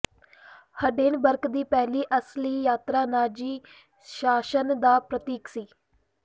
Hindenburg ਦੀ ਪਹਿਲੀ ਅਸਲੀ ਯਾਤਰਾ ਨਾਜ਼ੀ ਸ਼ਾਸਨ ਦਾ ਪ੍ਰਤੀਕ ਸੀ